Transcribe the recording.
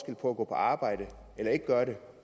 på at gå på arbejde eller ikke gøre det